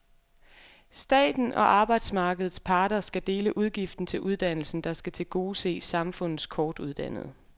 Staten og arbejdsmarkedets parter skal dele udgiften til uddannelsen, der skal tilgodese samfundets kortuddannede.